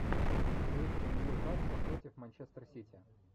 встреча ньюкасла против манчестер сити